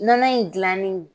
Nɔnɔ in dilanen .